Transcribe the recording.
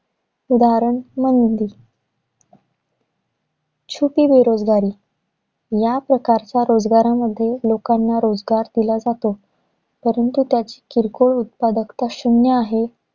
उदाहरण, मंदी छुपी बेरोजगारी. या प्रकारच्या रोजगारामध्ये, लोकांना रोजगार दिला जातो. परंतु त्याची किरकोळ उत्पादकता शून्य आहे.